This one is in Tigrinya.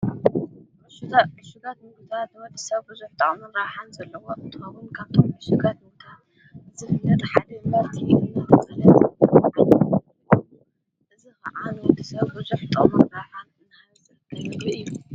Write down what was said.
ሽ ዕሽጋት ምዉታ ብበጥሳብጐ ዘፍጠዖሙን ረሓን ዘለዎ እትኸቡን ካቶም ምሽጋት ምታ ዘኅነድ ኃንመርቲ እነ ዘለ ዘገሎ እዝ ኸዓን ወቲሰብጐ ዘፍጠኦሙን ረሓን እናዘልል እዩ።